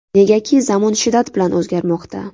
Negaki zamon shiddat bilan o‘zgarmoqda.